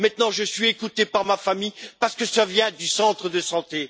Maintenant je suis écoutée par ma famille parce que l'information vient du centre de santé.